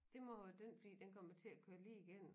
Det må være den fordi den kom jo til at køre lige igennem